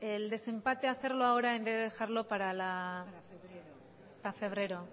el desempate hacerlo ahora en vez de dejarlo para febrero